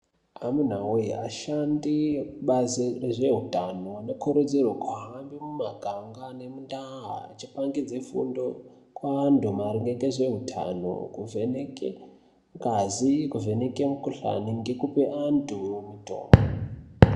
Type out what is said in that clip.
Amuna voye achandi ekubazi rezveutano anokurudzirwe kuhamba mumaganga nemundaa achipangidze fundo kuvantu maringe ngezveutano. Kuvheneke ngazi kuvheneke mukuhlani ngekupe antu mutombo.